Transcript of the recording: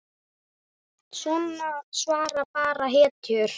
Svona svara bara hetjur.